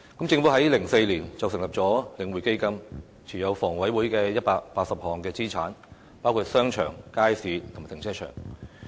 政府在2004年成立領匯房地產投資信託基金，讓領匯持有房委會180項資產，包括商場、街市和停車場。